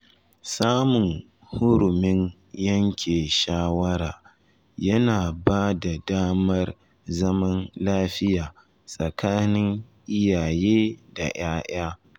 Samun hurumin yanke shawara yana ba da damar zaman lafiya tsakanin iyaye da ‘ya’ya.